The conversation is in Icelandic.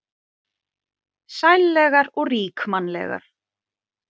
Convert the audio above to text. Sællegar og ríkmannlegar.